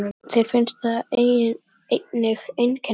Björn: Þér finnst það einnig einkennilegt?